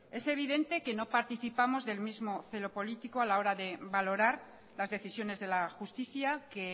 es evidente que no participamos del mismo celo político a la hora de valorar las decisiones de la justicia que